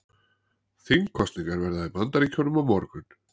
Þingkosningar verða í Bandaríkjunum á morgun